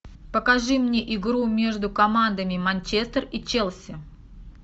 покажи мне игру между командами манчестер и челси